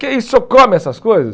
Que isso, o senhor come essas coisas?